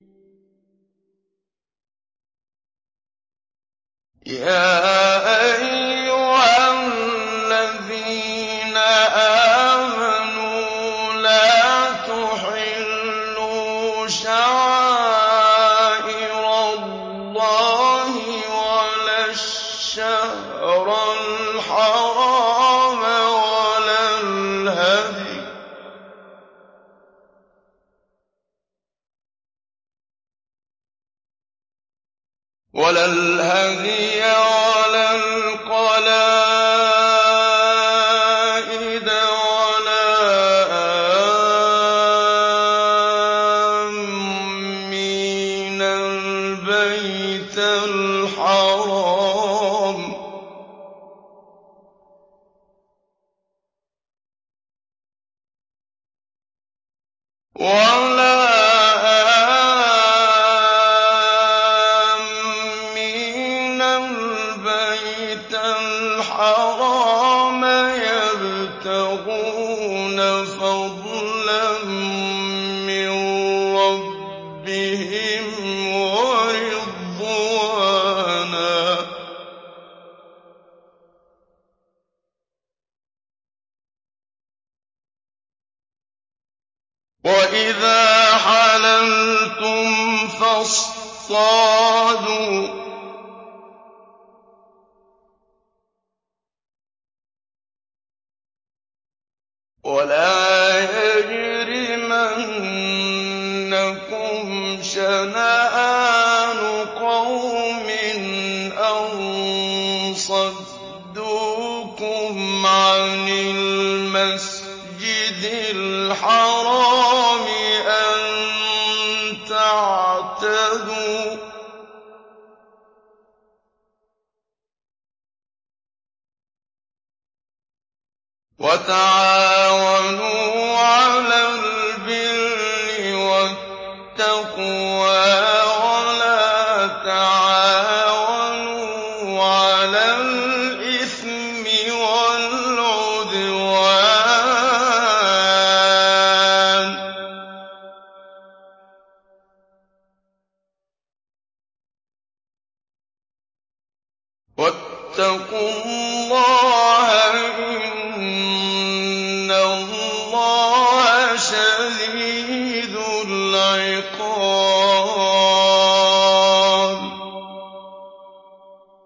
يَا أَيُّهَا الَّذِينَ آمَنُوا لَا تُحِلُّوا شَعَائِرَ اللَّهِ وَلَا الشَّهْرَ الْحَرَامَ وَلَا الْهَدْيَ وَلَا الْقَلَائِدَ وَلَا آمِّينَ الْبَيْتَ الْحَرَامَ يَبْتَغُونَ فَضْلًا مِّن رَّبِّهِمْ وَرِضْوَانًا ۚ وَإِذَا حَلَلْتُمْ فَاصْطَادُوا ۚ وَلَا يَجْرِمَنَّكُمْ شَنَآنُ قَوْمٍ أَن صَدُّوكُمْ عَنِ الْمَسْجِدِ الْحَرَامِ أَن تَعْتَدُوا ۘ وَتَعَاوَنُوا عَلَى الْبِرِّ وَالتَّقْوَىٰ ۖ وَلَا تَعَاوَنُوا عَلَى الْإِثْمِ وَالْعُدْوَانِ ۚ وَاتَّقُوا اللَّهَ ۖ إِنَّ اللَّهَ شَدِيدُ الْعِقَابِ